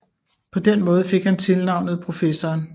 På den måde fik han tilnavnet Professoren